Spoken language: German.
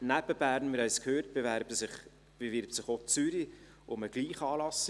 Neben Bern – wir haben es gehört – bewirbt sich auch Zürich um den gleichen Anlass.